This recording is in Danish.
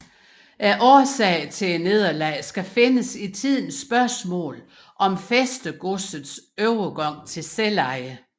Årsagen til nederlaget skal findes i tidens spørgsmålet om fæstegodsets overgang til selveje